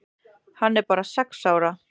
Hann er bara sex ára.